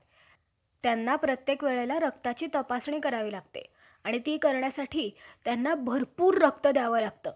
आम्ही सर्व वर्णांमध्ये श्रेष्ठ असे मोठ्या वर्गाने नेहमी बोलणारे अश्वास जन्म देणारे मूळ माता ब्राह्मणी~ ब्राह्मणींना आम्ही तुजी~ आम्ही तू,